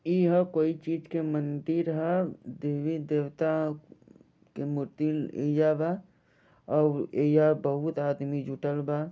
यह कोई चीज के मंदिर है देवी देवता के मुतिल ऐजा बा और बहुत आदमी जुटल बा |